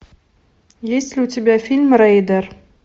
есть ли у тебя фильм рейдер